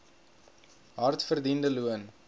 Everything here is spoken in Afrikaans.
hard verdiende loon